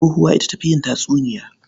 Tsohuwa ita ta fi yin tatsuniya.